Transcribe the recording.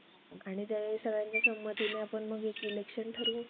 आणि ते सगळ्यांच्या संमतीने आपण मग एक इलेक्शन ठरवू